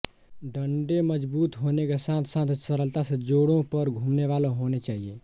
डंडे मजबूत होने के साथ साथ सरलता से जोड़ों पर घूमनेवाले होने चाहिए